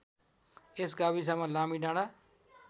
यस गाविसमा लामीडाँडा